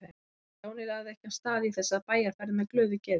En Stjáni lagði ekki af stað í þessa bæjarferð með glöðu geði.